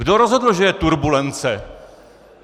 Kdo rozhodl, že je turbulence?